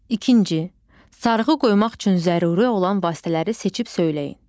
İkinci, sarğı qoymaq üçün zəruri olan vasitələri seçib söyləyin.